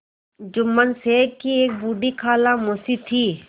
जुम्मन शेख की एक बूढ़ी खाला मौसी थी